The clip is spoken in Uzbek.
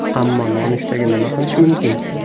Ammo nonushtaga nima qilish mumkin?